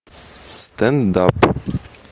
стендап